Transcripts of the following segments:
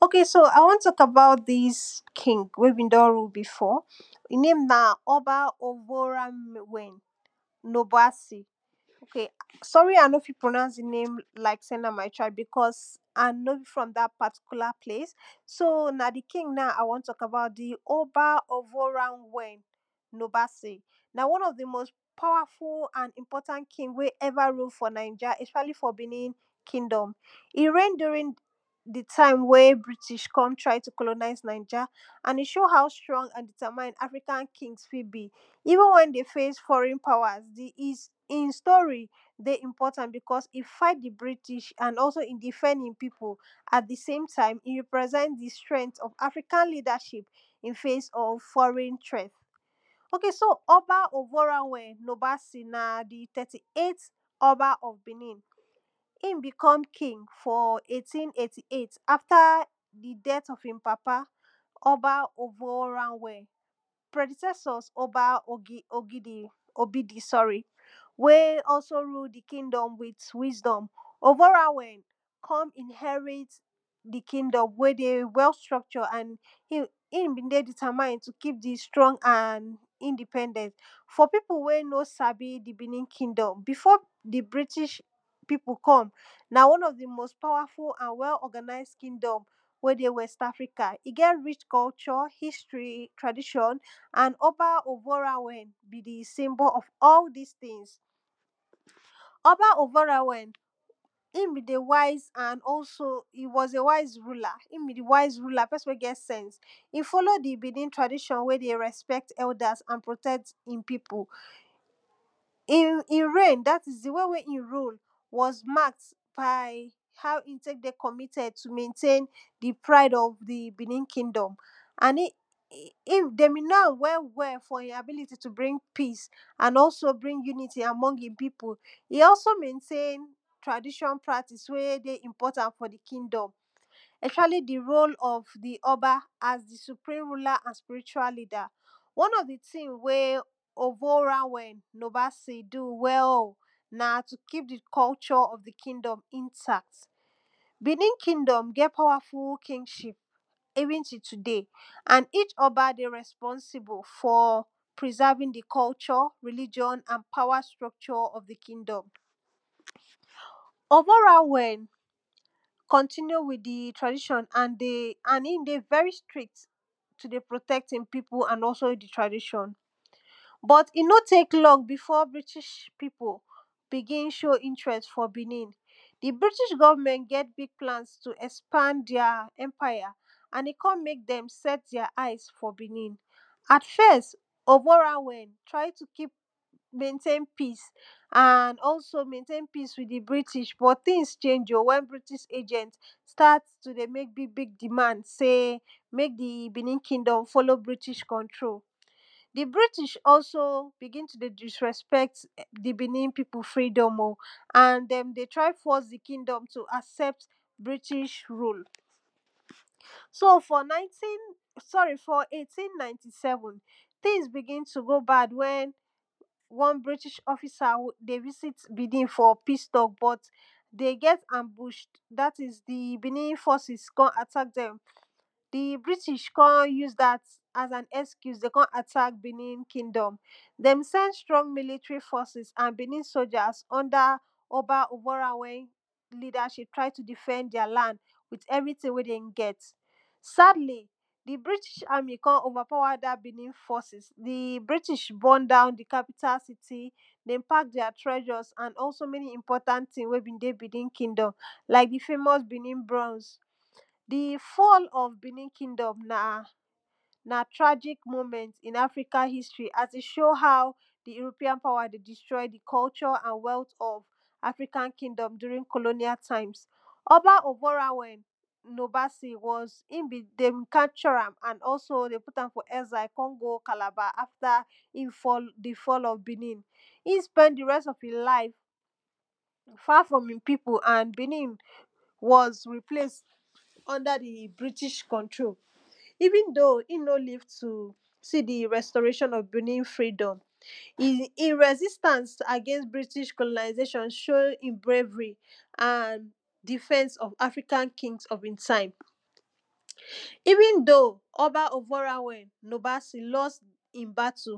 o?ke? a? w??n t??k e?ba?u?t di?s ki?ng we? d??n ru? bi?f?? i?? ne?i?m na? ??ba? o?vo?ra?m??n no?bu?a?si?n s??ri? a? no? fi? pro?na?u?s di? ne?i?m la?i?k se? na? ma?i? ta?i?b bi?k??s a? no? bi? fr??m da? pa?ti?ku?la? ple?i?s so? na? di? ki?ng a? w??n t??k a?ba?u?t ??ba? no?vu?ra?m?? no?ba?se? na? wo?n ??f di? mo?st pa?wa?fu? a?n i?mp??ta?nt ki?ng we? ru? f?l na?i??a? ??p???a?li? f?? bi?ni? ki?nd??m i? re?i?n du?ri?n di? ta?i?m we? bri?ti?? k??n tra?i? tu? ko?lo?na?i?s na?i??a a?i? ?o?u? a?u? str??ng a?n di?ta?ma?i?n a?fri?ka?n ki?ns fi? bi? i?vu?n w??n de? fe?i?s f??ri?n a?wa?s i?n sto?ri? de? i?mp??ta?n bi?k??s i? fa?i?t di? bri?ti?? a?n di?f??nd i? pi?pu? a?t di? se?i?m ta?i?m i? ri?pr??s??nt di? str??nt?? afri?ka? li?da??i?p i?n fe?i?s?? f??ri?n tr??t o?ke? so? ??ba? o?vo?ra?w?? na? di? t??ti? e?i?t ??ba??? bi?ni?n hi?n bi?k??m ki?ng f?l e?i?ti?n e?i?ti? e?i?t a?fta? di? d??t ??f i?n pa?pa? ??ba? ??vo?ra?w?? pr?di?s??s?? ??ba? ??bi?di? s??ri? We? ??so? ru? di? ki?nd??m wi?t wi?sd??m o?vo?ra?w??n k??n i?n??ri?t di? ki?nd??m we? de? w??u? str??kt??d a?n h?n de? w?? di?ta?ma?i?n tu? ki?p di? str??ng a?n i?ndi?p??nd??nt f?? pi?pu? we? no? sa?bi? di? bi?ni? ki?d??m bi?f?? di? bri?ti?? pi?pu? k??m na? w??n ??f di? mo?s pa?wa?fu? a?n w?? ??ga?na?i?s ki?nd??m we? de? w??sta?fri?ka? i? ge? ri?? k??u???? hi?stri? tra?di????n a?n ??ba? o?vo?ra?w??n bi? di? si?mb?? ??f?? di?s ti?n ??ba? o?vo?ra?w??n hi?n bi? di? wa?i?s a?n ??so? i? w??s e? wa?i?s ru?la? p??si?n we? ge? s??ns i? f??lo?u? di? pi?pu? we? de? r??sp??t ??u?da?s a?n hi?n pi?pu? i? re?i?n da? i?s di? w??n we? i? ru? w??s ma?kd ba?i? a?u? i?n te?k de? k??mi?t??d tu? m??nte?i?n di? pra?i?d ??f di? bi?ni? ki?nd??m a?n d??m bi? no?a?m w??w?? f?? i? a?bi?li?ti? bri?n pi?s a?n ??so? bri?n ju?ni?ti? f?? a?m??ng hi?n pi?pu? i? ??so? m??nte?i?n tra?di????n pra?ti?si?s we? de? i?mp??rta?nt fo? di? ki?nd??m ??s?a?li? di? ro?l ??f ??ba? a?s di? su?pri?m ru?la? a?n spi?ri?tu?a? li?da? w??n ??f di? ti?n we? o?vo?ra?w??n du? w??u? na? tu? ki?p di? k??u???? ??f di? ki?nd??m i?nta?t bi?ni? ki?nd??m g?? pa?wa?fu? ki?n?i?p i?vu?n ti? tu?de?i? a?n i?? ??ba? de? r??sp??nsi?bu? f?? pri?sa?vi?n di? k??u???? ri?li????n a?n pa?wa? str??k????? di? ki?nd??m o?vo?ra?w?? k??nti?ni?u? wi?t di? tra?di????n a?n i? de? v??ri? stri?kt tu? de? pro?t??t i?n pi?pu? a?n ??so? tra?di????n b??t i? no? te?k l??n bi?f?? bri?ti?? pi?pu? bi?gi?n ?o?u? i?ntr??s f?? bi?ni?n di? bri?ti?? g??vm??nt g??? bi?g pla?n tu? ??spa?nd di?a? ??mpa?ja? a?n de? k??n me?k d??m s??t di?a? a?i?s f?? bi?ni? a?t f??s o?vo?ra?w?? tra?i? tu? m??nte?i?n pi?s a?n ??so? tra?i? tu? m??nte?i?n pi?s wi?t di? bri?ti?? g??vm??nt b?? ti?n ?e?i?? o? w??n bri?ti?? g??vm?nt sta?t tu? de? me?k bi?g bi?g di?ma?nd se? me?k bi?ni?n ki?nd??m de? fo?lo? bri?ti?? k??tro? di? bri?ti?? ??so? bi?gi?n tu? de? di?str??p??t di? bi?ni? pi?pu? fri?d??m o? a?n d??m de? tra?i? f??s di? ki?d??m tu? a?s??pt bri?ti?? ru? So? f?? na?i?ti?n s??ri? f?? e?ti?n na?ti?n s??vu?n ti?n bi?gi?n tu? go? ba?d w??n w??n bri?ti?? ??fi?sa? de? vi?si?t bi?ni?n f?? pi?s t??k de? g??t a?mbu?? da?ti?s di? bi?ni? f??si?s k??n a?ta?k d??m Di? bri?ti?? k??n ju?s da?t a?s a?n ??ski?u?s tu? k??n a?ta?k bi?ni?n ki?nd??m d??m s??nd str??ng mi?li?tri? f??si?s a?n bi?ni? so??a?s ??nda? ??ba? u?bo?ra?u?we?i? li?da??i?p tra?i? tu? di?f??d di?a? l?nd wi? ??vri?ti?n we? d??n g??t sa?dli? di? bri?ti?? a?mi? k??n o?va?pa?wa? da? bi?ni? f??si?s di? bri?ti?? b??n da?u? di? ka?pi?ta? si?ti? d??n pa?k di?a? tr????? a?n ??so? m??ni? i?mp??ta?n ti?ns we? bi? de? bi?ni?n ki?d??m ??sp???a?li? da? di?a? bro?u?ns di? f??l ??f bi?ni? ki?nd??m na? na? tra??i?k mo?m??nt i?n a?fri?ka? hi?stri? a?n tu? ?o?u? ha?u? di? i?ro?pi?a?n pa?wa? de? di?str??li? di? k??u???? a?n w??u?t ??f a?fri?ka?n ki?nd??m du?ri?n ko?lo?ni?a? ta?i?ms ??ba? no?ba?si? w??s d??m ka?p???ra?m a?n ??so? d??m pu?ta?m f?? ??sa?i? k??n go? ka?la?ba? a?fta? di? f??l?? bi?ni?n i?n sp??n di? r??s ??f hi?n la?i?f fa? fr??m hi?n pi?pu? a?n bi?ni?n w??s ri?ple?i?sd ??nda? di? bri?ti?? k??nto? i?u?n do?u? i?n no? li?v tu? si? di? r??st??re?i????n ??f bi?ni? ki?d??m i? r??si?sta?ns a?ge?i?nst bri?ti?? ko?lo?na?i?ze?i????n so?u? hi? bre?i?vri? a?n di?f??s ??f a?fri?ka?n ki?ns ??f i?n ta?i?m i?vu?n do?u? ??ba? o?vo?ra?m??n l??st di? ba?tu?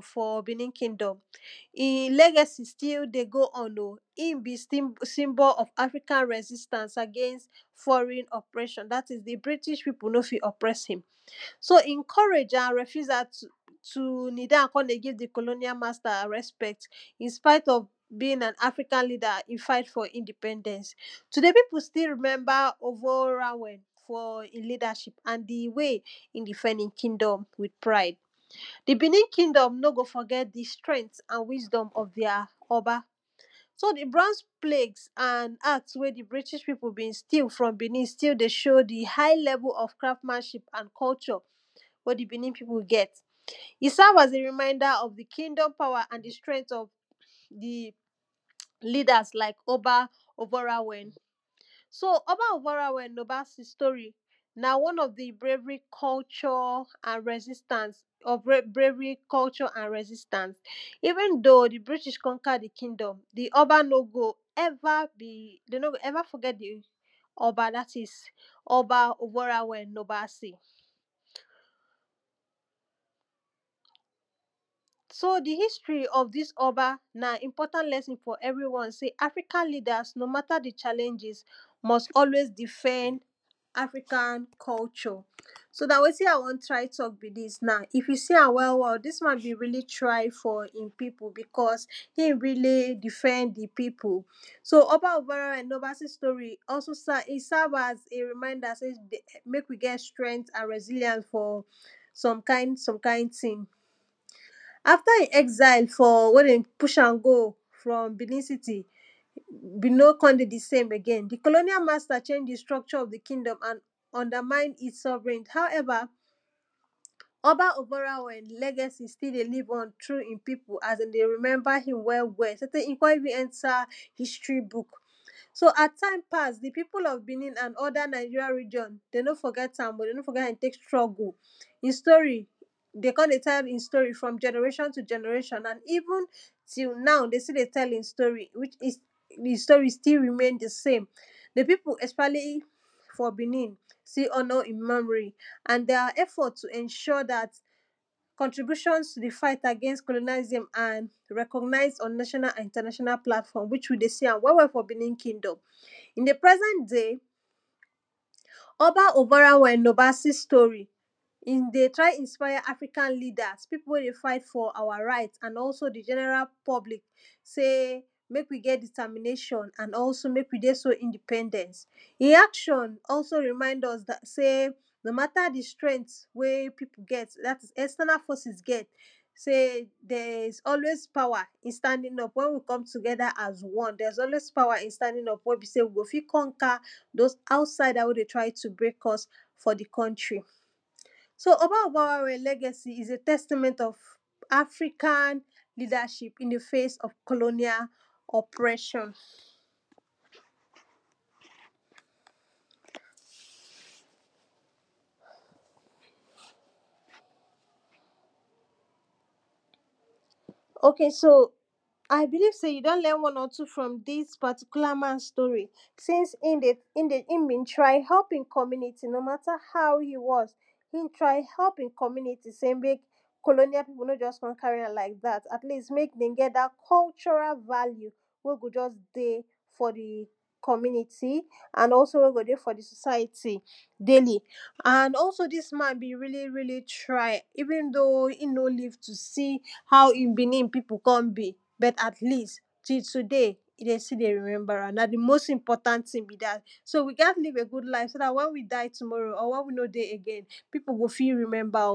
hi? le?ge?si? sti? de? gro?u? m?? hi?n bi? si?mb??l ??f a?fri?ka?n r??si?sta?ns a?ge?i?s f??ri?n ??pr?????n da?ti?s di di? bri?ti?? pi?pu??? fi? ??pr??sa?m so? hi?n k??re?i?? a?n r??fu?za? tu? ni?da?u?n k??n de? gi?v di? ko?lo?ni?a? ma?sta? r??sp??t I?nspa?i?t ??f bi?n a?n a?fri?ka?n li?da? hi? fa?i?t f?? i?ndi?p??nd??ns tu?de?i? pi?pu? sti? ri?m??nba? o?vo?ra?w?? f?? hi? li?da??i?p a?n di? we? hi? di?f??nd hi?n ki?nd??m wi?t pra?i?d di? bi?ni? ki?nd??m no? go? f??g??t di? str??nt ??f di?a? ??ba? So? di? bro?ns ple?i?t a?n a?ks we? di? bri?ti?? pi?up? bi?n sti?u? fr??m bi?ni?n sti? de? ?o?u? di? ha?i? l??vu? a?n k??u???? we? di? bi?ni? pi?pu? de? g??t i? sa?v a?s di? ri?ma?i?da? ??f di? ki?nd??m pa?wa? di? li?da?s la?i?k ??ba? o?vo?ra?w??n so? ?ba? o?vo?ra?w??n sto?ri? na? w??n ??f di? bre?vri? k????? a?n r??si?sta?nt ??f bre?vri? k??u???? a?n r??si?sta?ns i?vu?n do?u? di? bri?ti?? k??nka? di? ki?nd??m de? no? go? ??va? f??g??t di? ??ba? da? ti?s ??ba? o?bo?ra?w?? ??ba?si? so? di? hi?sti? ??f di?s ??ba? na? i?mp??ta?nt l??si?n f?? ??vri? w??n se? a?fri?ka?n li?da?s no? M?ta? di? ?a?le?i??i?s m??s ??we?i?s di?f??nd a?fri?ka?n k??u???? so? na? we?ti?n a? w??m tra?i? t??k bi? di?s na i?f ju? si? a?m w??w?? di?s ma?n ri?li? tra?i? f?? i?n pi?pu? hi?n ri?li? di?f??nd hi? pi?pu? so? ??ba? o?vo?ra?w??n no?ba?se? sto?ri? i? sa?v a?s ??so? sa?v a?s e? ri?ma?i?da? se? me?k wi? g??t tr??nt ?n r??si?li?a?ns tu? s??m ka?i?n ti?n a?fta? i? ??sa?i? e? de? pu??a?m go? fr??m bi?ni? si?ti? i? no? k?hn de? di? se?m e?ge?i?n di? ko?lo?i?a? ma?sta? ?e?i?? di? str??k??? ??f di? ki?d??m a?n ??nsda?ma?i?n it?s s??vri?n ha?u? ??va? ??ba? o?vo?ra?w??n le?g??si? sti? de? li?v??n tru? hi?n pi?pu? a?s de? de? ri?m??nba? hi?n w?? w?? so? te? i? k??n i?vu?n ??nta? hi?stri? bu?k so? a?s ta?i?m pa?s di? pi?pu? ??f bi?ni?l a?n ??da? ri????n o? de? no? f??g??ta?m de? no? f??g??t hi? str??gu? de? k??n de? ta?i?p hi?n sto?ri? fr??m ???ne?ra????n tu? g??n??re?i????n aln i?vu?n ti? na?u? de? sti? de? t??l i?n sto?ri? fe? sto?ri? sti? ri?me?i?n di? se?i?m di? pi?pu? ???a?li? f?? bi?ni?n si? h??n?? hi? m??mri? a?n di?a? ??f??t tu?????? da?t k??ntri?bu????n tu? di? fa?i?t a?ge?i?nst ko?lo?ni?a?li?si?m r??k??m??nd i?nta?na????na? wi?? ju? de? si?a?m f?? bi?ni? ki?d??m ??ba? o?bo?ra?w?? no?ba?si? sto?ri? i? de? tra?i? i?nspa?ja? afri?ka? li?da? pi?pu? we? de? fa?i?t f?? a?wa? ra?i?t a?n ??so? di? ???n??ra? p??bli?k se? me?k wi? g?? di?ta?mi?ne????n a?n ??so? me?k wi? de? so? i?ndi?p??d??nt hi? a?k???n ri?ma?i?nd ??s se? no? ma?ta? di? str??nt we? pi?pu? g??t da?ti?s di? ??sta?na? f??si?s g??t se? di??? i?s ??we?i? pa?wa? i?n sta?di?n w??n wi? o? fi? k??nka? do?s a?u?sa?i?da? we? de? tra?i? tu? bre?k ??s f?? di? k??ntri? so? ??ba? o?vo?ra?w??n i?s e? t??sti?m??nt ??f li?da??i?p i?n di? fe?i?s ??f ko?lo?nia? ??pr?????n o?ke? so? a?i? bi?li?v se? ju? d??n l??n w??n?? tu? fr??m di?s sto?ri? si?ns hi?n bi? tra?i? h??p di? k??mi?ni?ti? no? ma?ta? ha?u? ju? w??nt hi?n tra?i? h??p hi?n k??mi?ni?ti? me? k??o?ni?a? pi?pu? no? ???s k??n ka?ri? a?m la?i?k da?t a?t li?st me?k hi?n g??t k?????ra? va?li?u? we? go? ???s de? f?? di? k??mi?ni?ti? a?n ??so? we? go? de? f?? di? so?sa?i?ti? de?i?li? a?n ??so? di?s ma?n bi? ri?li? ri?li? tra?i? i?vu?n do?u? hi?n no? li?v tu? si? ti?n bi? dat so? wi? ga?t li?v gu?d la?i?f so? da?t w??n wi? da?i? tu?de?i? pi?pu? go? fi? ri?m??nba? ??s ok so i won talk about dis king we be don rule before hi name na oba oboranvwen nobuasi. sorry i no fit pronouse di name because i no e for dat side. so na di king i won talk about di oboranvwen nobasi. na one of di most powerful and important king we ever rule for ninja especially for benin kindom. e reign during di time wey bitish come try to colonize ninja and e show how strong and determined african king fit be. even wen de face foreign powers, hin story dey important because e figt di british and also e defend e pipu. sat di same time e represent di strength of african ledership in face of foreign threat. ok so oba oboranvwen nobase na di thiry-eight oba of benin hin become king for eighteen eighty-eight after di death of hin papa oba oboranvwen predicesor oba obidi. wey also rule di kingdom with wisdom oboranvwen kon inherit di kingdom wey dey well structured and hin be dey determined to keep di strong and independent for di pipu wey no sabi di benin kigdom before di british pipu come, na one of di most powerful and well organized kingdom in west africa. get rich culture, history, tradition and oba oboranvwen na symbol of all dis tins. oba oboranvwen hin be di wise and also e was a wise ruler hin be di wise ruler pesin wey get sense e follow di bein tradition wey dey respect elders and protect hin pipu. hin reign dat is di won wey he rule was markd by how he tek dey committed to maintain di prie of di benin kingdom and he dey be know am well well for he ability to bring peace and unity for among hin pipu. e also maintain tradition practices wey dey important for di kingdom. especially di role of di oba as di supreme ruler and spiritual leade. one of di tin wey oboranvwen nobase do well na tu keep di culture of the kingdom intact benin kingdom get powerful kingship even till today and each oba dey reponsible for preserving di culture and religion and power structure of di kingdom. oboranvwen comtinue with di traditin and e dey very strict to dey protect di pipu and also di tradition but e no tek long before british pipu begin sow interest for benin. di british government get big plans to expand their empire and e kon mek dem set their eyes for benin. at first, oboranvwen try to maintain peace and also maintain peace with di british but tins changes o wen britih agent start yo dey mek big big demand sey mek di benin kingdom follow british control. di british also begin to dey disrespect di benin pipu freedom oh and den dey try force di kingdom to accept british role so for nineteen sorry for eighteen ninety-seven, tins begin to go bad wen one british officer dey visit bebin for peace talk dey get ambush dat is di british forces kon attack dem. di british kon use dat as an euse to kon attack benin kingdom. de send strong military forces and benin soldiers under oba uborawei leadership trying to defend their land with everything wey den get. sadly, di british army kon overpower di benin forces, di british burn down di capital city, den pack their treasures and many important tins wen be dey benin kingdom like di famouse benin bronze. di fall of benin kingdom na na tragic moment in african history as e show how di european power dey distroy di cultureand wealth of african kingdom during colonial times. oba oboranvwen nobasi was, hin be dem capture am and also dem put am for exile kon go calabar after di fall of benin. hin spend di rest of hin life far from hin pipu and benin was replaced under di british control even though hi no live to see di restoration of benin kkingdom, e resistance agains british colonization show hin bravery and defense of african kings of hin time. even though oba oboranvwen lost di battle for benin kingdom, he legecy till dey go on oh hin be symbol of affrican resistance against british operation dat is di british pipu no fit oppress am so hin courage and refusal to knee down kon dey give di colonial master respect, inspite of being an african leader, e fight for independene. today pipu still remember oboranvwen for e leadership and di way e defend e kingdom with pride. di benin kingdom no go forget di strength and wisdom of their oba. so di bronze plate and axe wey di british pipu steal for enin still dey show di high level of craftmanship and culture wey di benin pipu gete serve as di reminder of di kingdom power and di strngth of di leaders like oba oboranvwen so oba oboranvwen nobasi story na one of di bravery culture and resistance of bravery, culture and resistance even though di british conquer di kingdom, di oba no go de no go ever forget oba dat is oba oboranvwen nobase. so di history of dis oba na important lesson for everyone sey african leaders no matter di challanges, mut always defend african culture so na wetin i won talk na be sey na if you see am well well dis man really try for hin pipu hin really defend hin pipu. so oba oboranvwen nobasi story serve as reminder mek we get strength and resilient for some kin some kin tin. after hi exile for wey de bush am go for bennin city,e no kon dey di same again. di colonial master change di structure of di kingdom and undermine e sovereign however, obav legacy still dey live on through hin pipu as de dey remember hin well well so tek e kon even nter history book. so as time pass, di pipu of benin and other ninja region, de no forget am oh de no forget how e tek struggle hin story dey kon dey tell hin story for generation to generation na even till now de stilld dey tel hin story even till now dey still dey tell hin story. contributions to di fig against colonialism and reognize international platform which we dey see am well well for benin kingdom in di present day. oba v nobasi story, e dey try inspire african leaders piu wey dey fight for our right and also di general public sey mek we get determination and also mek we dey so independent hin action also remind us sey no matter di strength wey pipu get dat is external forces get sey there is always power in standing wen we com together as one there is always power ini standing up wen be sey de fit conqer those outsides wy dey try to break us for di country so oboranvwen legacy is a testament of african leadership in a face of colonial oppresions ok so i believe sey you don learn one or two from dis particular man story since hin b try helpo hin community no matter how you want hin try help hin community sey mek colonial pipu no just kon carry am like dat at least dat at least mek hin g et cultural value we go just dey for di community and also wey go dey for di society daily. and also dis man be really really try even though hin no live to see how hin benin pipu kon be but at least till today e dey still dey remember am na di most important tin be dat so dat wen we die tomorrow or wen we no dey again so dat pipu go fit remember us.